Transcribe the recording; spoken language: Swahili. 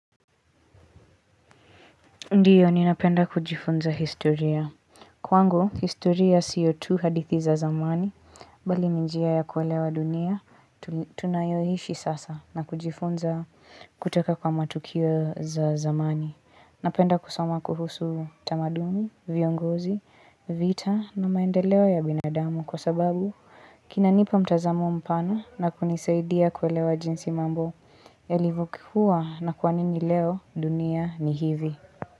Ndiyo, ninapenda kujifunza historia. Kwango, historia siyotu hadithi za zamani, bali minjia ya kuelewa dunia, tunayoishi sasa na kujifunza kutoka kwa matukio za zamani. Napenda kusoma kuhusu tamaduni, viongozi, vita na maendeleo ya binadamu. Kwa sababu, kinanipa mtazamo mpana na kunisaidia kuelewa jinsi mambo ya livyokuwa na kwanini leo dunia ni hivi.